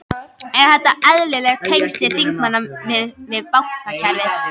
Eru þetta eðlileg tengsl þingmanna við, við, við bankakerfið?